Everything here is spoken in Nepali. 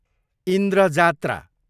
इन्द्र जात्रा